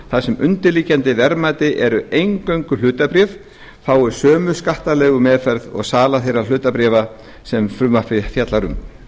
þar sem undirliggjandi verðmæti eru eingöngu hlutabréf fái sömu skattalegu meðferð og sala þeirra hlutabréfa sem frumvarpið fjallar um